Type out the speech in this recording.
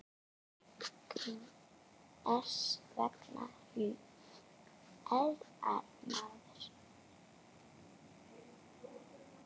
Hvers vegna hnerrar maður?